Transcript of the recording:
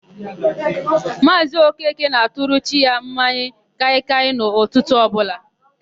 Maazị Okeke na-atụrụ chi ya mmanya kaịkaị n'ụtụtụ ọbụla.